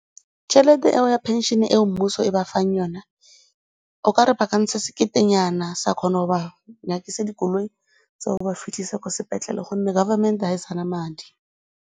Tšhelete eo ya phenšene eo mmuso e ba fang yone, okare ba ka ntsha seketenyana sa kgona go ba nyakisa dikoloi tsa go ba fitlhisa ko sepetlele gonne government-e ga e sa na madi.